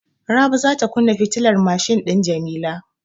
Rabi za ta kunna fitilar mashin din Jamila.